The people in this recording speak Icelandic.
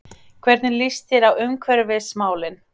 Hvernig líst þér á umhverfismálin?